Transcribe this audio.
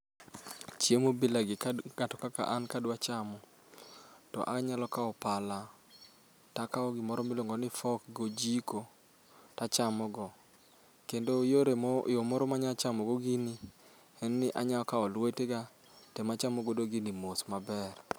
Chiemo bilagi ka ng'ato kaka an kadwa chamo, to anyalo kawo pala to akawo gimoro miluongo ni fork gojiko to achamogo. Kendo yore moro yo moro manyalo chamogo gini, en ni anyalo kawo lwetega to ema achamogodo gini mos maber.